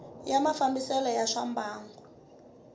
ya mafambisele ya swa mbangu